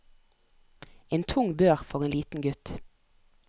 En tung bør for en liten gutt.